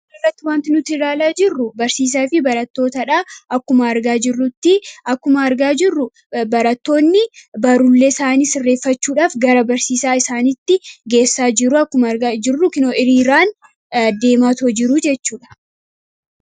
asitti wanti nuti ilaalaa jirru barsiisaa fi baratootaadha akkuma argaa jirrutti akkuma argaa jirru barattoonni barullee isaanii reeffachuudhaaf gara barsiisaa isaanitti geessaa jiruu akkuma argaa jirru kinoo iriiraan deematoo jiruu jechuudha